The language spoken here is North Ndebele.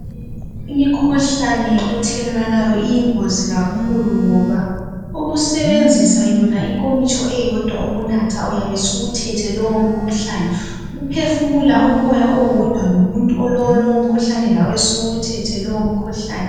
Imikhuhlane ethelelwanayo iyingozi kakhulu ngoba ukusebenzisa yona inkomitsho eyodwa ukunatha uyabe usuyithethe leyo mkhuhlane. Ukuphefumula umoya owodwa lalowo muntu olomkhuhlane lawe suwuyithethe lowo mkhuhlane.